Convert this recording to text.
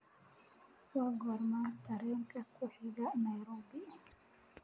waa goorma tareenka ku xiga nairobi